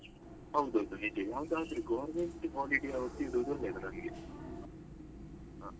ಹೌದೌದು ನಿಜ ಯಾವದಾದ್ರು government holiday ಅವತ್ ಇಡುದು .